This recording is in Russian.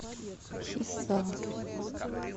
хисар